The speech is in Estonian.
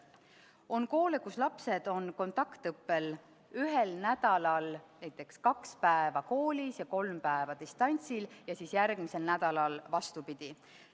On koole, kus lapsed on ühel nädalal näiteks kaks päeva koolis kontaktõppel ja kolm päeva distantsõppel, ning järgmisel nädalal vastupidi.